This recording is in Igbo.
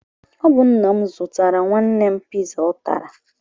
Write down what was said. Ọ bụ nna m zụtara nwanne m piza ọ tara.